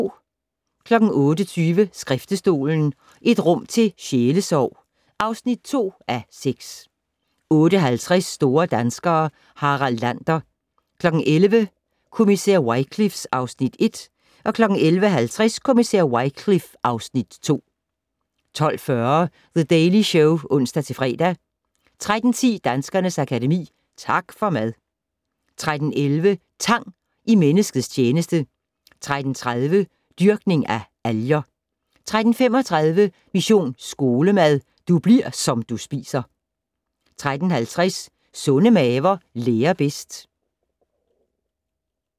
08:20: Skriftestolen - et rum til sjælesorg (2:6) 08:50: Store danskere - Harald Lander 11:00: Kommissær Wycliffe (Afs. 1) 11:50: Kommissær Wycliffe (Afs. 2) 12:40: The Daily Show (ons-fre) 13:10: Danskernes Akademi: Tak for mad! 13:11: Tang i menneskets tjeneste 13:30: Dyrkning af alger 13:35: Mission Skolemad: Du bli'r som du spiser 13:50: Sunde maver lærer bedst